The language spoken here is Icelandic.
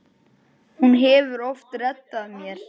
Hún hefur oft reddað mér.